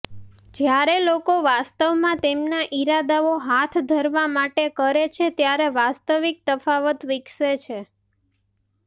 જ્યારે લોકો વાસ્તવમાં તેમના ઇરાદાઓ હાથ ધરવા માટે કરે છે ત્યારે વાસ્તવિક તફાવત વિકસે છે